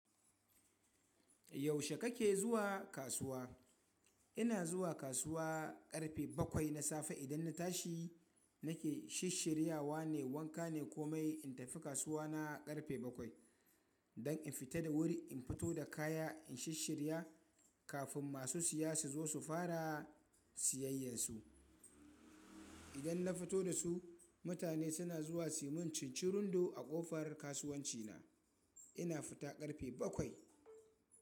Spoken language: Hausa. Yaushe kake zuwa kasuwa? Ina zuwa kasuwa ƙarfe bakwai na safe idan na tashi nake shisshirya wa ne wanka ne komai in tafi kasuwa na ƙarfe bakwai don in fita da wuri, in fito da kaya in shisshirya kafin masu siya su zo su fara siyayyar su. Idan na fito da su mutane suna zuwa siman cincirundu a kofar kasuwanci na. Ina fita ƙarfe bakwai.